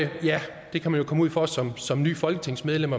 det kan man jo komme ud for som som nyt folketingsmedlem